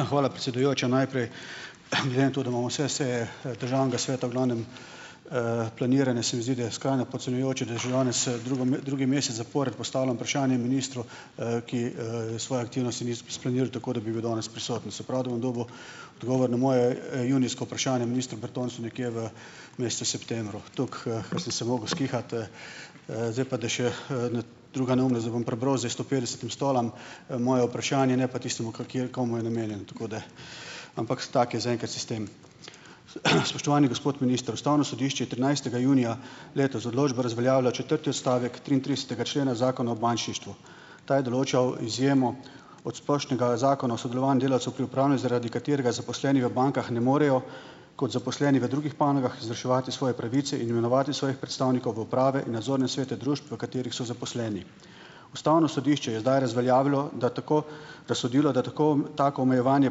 Hvala, predsedujoča. Najprej, glede na to, da imamo vse seje, državnega sveta v glavnem, planirane se mi zdi, da je skrajno podcenjujoče, da že danes, drugo drugi mesec zapored postavljam vprašanje ministru, ki, svoje aktivnosti ni splaniral tako, da bi bil danes prisoten. Se pravi, da bom dobil odgovor na moje, junijsko vprašanje ministru Bertonclju nekje v mesecu septembru. Tako, sem se mogel skihati, Zdaj pa da še druga da bom prebral zdaj sto petdesetim stolom, moje vprašanje, ne pa tistemu, komu je namenjen, tako da. Ampak tako je zaenkrat sistem. Spoštovani gospod minister, ustavno sodišče je trinajstega junija letos z odločbo razveljavilo četrti odstavek triintridesetega člena Zakona o bančništvu. Ta je določal izjemo od splošnega zakona o sodelovanju delavcev pri upravljanju, zaradi katerega zaposleni v bankah ne morejo kot zaposleni v drugih panogah izvrševati svoje pravice in imenovati svojih predstavnikov v uprave in nadzorne svete družb, v katerih so zaposleni. Ustavno sodišče je zdaj razveljavilo, da tako razsodilo, da tako tako omejevanje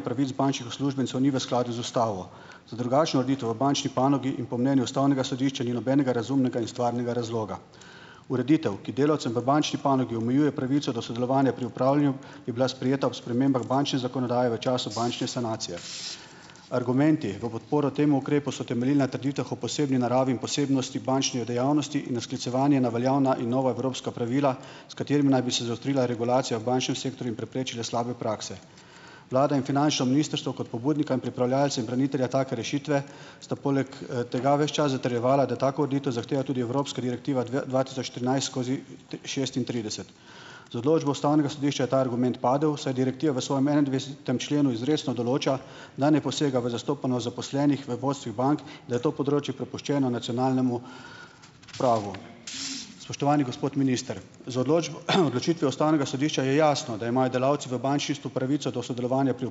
pravic bančnih uslužbencev ni v skladu z ustavo. Za drugačno ureditev v bančni panogi in po mnenju ustavnega sodišča ni nobenega razumnega in stvarnega razloga. Ureditev, ki delavcem v bančni panogi omejuje pravico do sodelovanja pri upravljanju, je bila sprejeta ob spremembah bančne zakonodaje v času bančne sanacije. Argumenti v podporo temu ukrepu so temeljili na trditvah o posebni naravi in posebnosti bančnih dejavnosti in na sklicevanju na veljavna in nova evropska pravila, s katerim naj bi se zaostrila regulacija v bančnem sektorju in preprečila slabe prakse. Vlada in finančno ministrstvo kot pobudnika in pripravljavca in branitelja take rešitve sta poleg, tega ves čas zatrjevala, da tako ureditev zahteva tudi evropska direktiva dv dva tisoč trinajst skozi šestintrideset. Z odločbo ustavnega sodišča je ta argument padel, saj direktiva v svojem enaindvajsetem členu izrecno določa, da ne posega v zastopanost zaposlenih v vodstvih bank, da je to področje prepuščeno nacionalnemu pravu. Spoštovani gospod minister, z odločitvijo ustavnega sodišča je jasno, da imajo delavci v bančništvu pravico do sodelovanja pri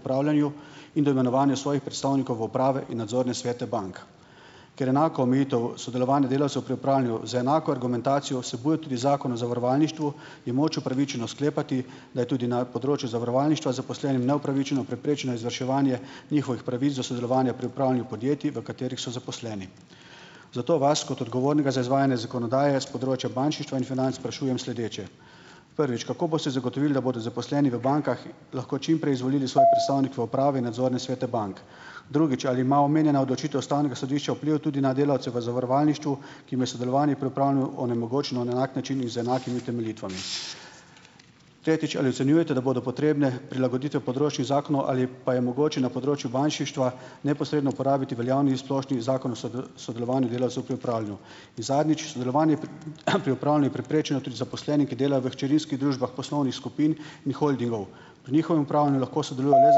upravljanju in do imenovanja svojih predstavnikov v uprave in nadzorne svete bank. Ker enaka omejitev sodelovanja delavcev pri upravljanju z enako argumentacijo vsebuje tudi Zakon o zavarovalništvu je moč upravičeno sklepati, da je tudi na področju zavarovalništva zaposlenim neupravičeno preprečeno izvrševanje njihovih pravic do sodelovanja pri upravljanju podjetij, v katerih so zaposleni. Zato vas kot odgovornega za izvajanje zakonodaje s področja bančništva in financ sprašujem sledeče: Prvič, kako boste zagotovili, da bodo zaposleni v bankah lahko čim prej izvolili svoje predstavnike v uprave nadzorne svete bank? Drugič, ali ima omenjena odločitev ustavnega sodišča vpliv tudi na delavce v zavarovalništvu, ki je sodelovanje pri upravljanju onemogočeno na enak način in z enakimi utemeljitvami? Tretjič, ali ocenjujete, da bodo potrebne prilagoditve zakonov ali pa je mogoče na področju bančništva neposredno uporabiti veljavni in splošni Zakon o sodelovanju delavcev pri upravljanju? In zadnjič, sodelovanje zaposleni, ki dela v hčerinskih družbah poslovnih skupin in holdingov. Pri njihovem upravljanju lahko sodelujejo le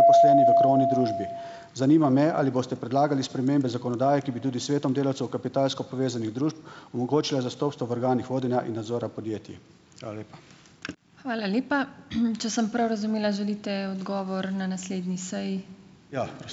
zaposleni v krovni družbi. Zanima me, ali boste predlagali spremembe zakonodaje, ki bi tudi svetom delavcev kapitalsko povezanih družb, omogočila zastopstvo v organih vodenja in nadzora podjetij? Hvala lepa.